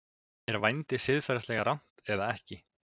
Er vændi siðferðilega rangt eða ekki?